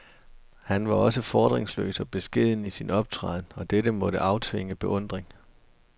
Han var så fordringsløs og beskeden i sin optræden, at det måtte aftvinge beundring.